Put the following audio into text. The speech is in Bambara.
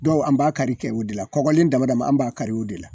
Dɔw an b'a kari kɛ o de la, kɔgɔlen dama dama an b'a kari o de la.